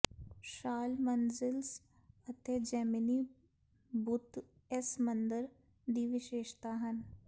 ਸ਼ਾਲ ਮੰਜ਼ਿਲਸ ਅਤੇ ਜੇਮਿਨੀ ਬੁੱਤ ਇਸ ਮੰਦਰ ਦੀ ਵਿਸ਼ੇਸ਼ਤਾ ਹਨ